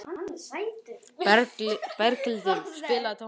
Berghildur, spilaðu tónlist.